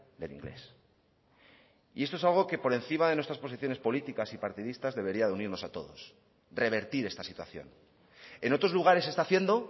del inglés y esto es algo que por encima de nuestras posiciones políticas y partidistas debería de unirnos a todos revertir esta situación en otros lugares se está haciendo